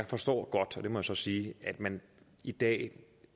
forstår godt det må jeg så sige at man i dag